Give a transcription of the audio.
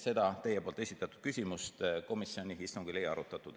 Seda teie esitatud küsimust komisjoni istungil ei arutatud.